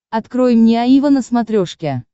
открой мне аива на смотрешке